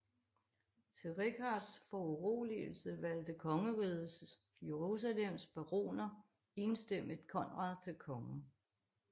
Til Richards foruroligelse valgte Kongeriget Jerusalems baroner enstemmigt Konrad til konge